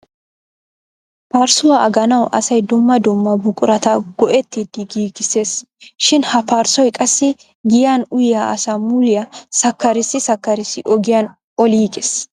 Parssuwa aganawu asay dumma dumma buqurata go'ettidi giigisses shin ha parssoy qassi giyan uyyiya asaa muliya sakarssi sakarssi ogiyan olliiges.